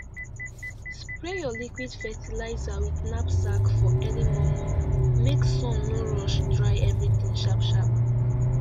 spray your liquid fertilizer with knapsack for early momo make sun no rush dry everything sharp sharp